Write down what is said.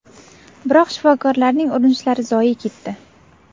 Biroq shifokorlarning urinishlari zoye ketdi.